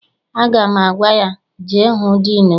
Aga m agwa ya, jee hụ diinu gị!